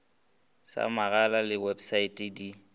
sa megala le websaete di